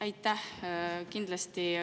Aitäh!